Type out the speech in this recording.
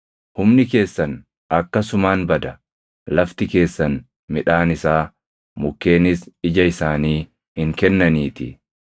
Humni keessan akkasumaan bada; lafti keessan midhaan isaa, mukkeenis ija isaanii hin kennaniitii.